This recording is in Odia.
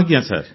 ଆଜ୍ଞା ସାର୍